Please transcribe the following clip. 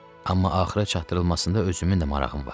Amma axıra çatdırılmasında özümün də marağım var.